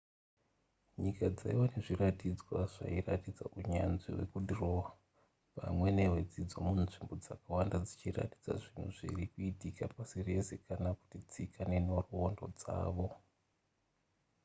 nyika dzaiva nezviratidzwa zvairatidza unyanzvi hwekudhirowa pamwe nehwedzidzo munzvimbo dzakawanda dzichiratidza zvinhu zviri kuitika pasi rese kana kuti tsika nenhoroondo dzavo